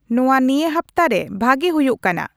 ᱱᱚᱣᱟ ᱱᱤᱭᱟᱹ ᱦᱟᱯᱛᱟᱨᱮ ᱵᱷᱟᱜᱮ ᱦᱳᱭᱳᱜ ᱠᱟᱱᱟ